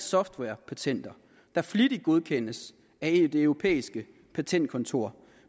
softwarepatenter der flittigt godkendes af helt europæiske patentkontorer